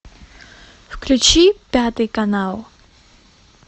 включи пятый канал